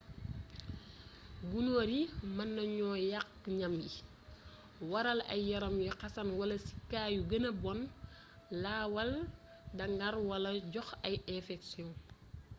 gunóor yi mën nañu yàq ñam yi waral ay yaram yuy xasan wala ci kaa yu gëna bon lawaal daŋar wala joxe ay infeksiyon